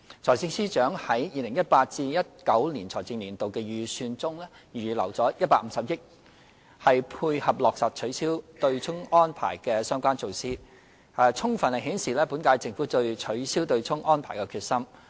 財政司司長在 2018-2019 財政年度的預算中預留150億元，配合落實取消"對沖"安排的相關措施，充分顯示本屆政府對取消"對沖"安排的決心。